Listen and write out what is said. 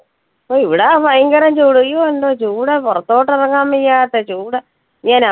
ഓ ഇവിടാ ഭയങ്കരം ചൂട് അയ്യോ എന്ത് ചൂടാ പുറത്തോട്ട് ഇറങ്ങാൻ വയ്യാത്ത ചൂട് ഇങ്ങന